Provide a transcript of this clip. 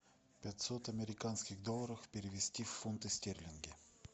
пятьсот американских долларов перевести в фунты стерлинги